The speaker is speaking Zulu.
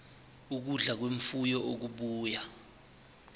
ukudla kwemfuyo okubuya